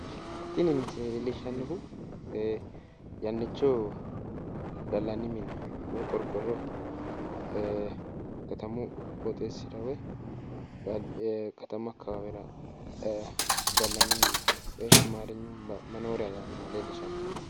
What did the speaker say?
Tini misile lellishshannohu yannicho gallanni mine woyi qorqorro katamu qooxxeessira woy katamu akkawaawera gallanni mineeti woy amaarinyunni manooriya yaannoha leellishshanno.